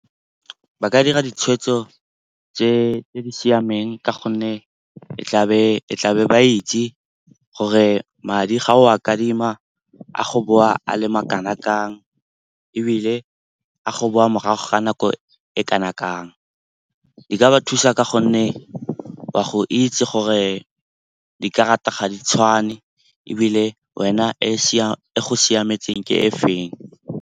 Ba ka dira ditshwetso tse di siameng ka gonne e tlabe ba itse gore madi ga o a adima a go boa a le makana kang ebile a go boa morago ga nako e kana kang. Di ka ba thusa ka gonne wa go itse gore dikarata ga di tshwane ebile wena e go siametseng ke e feng.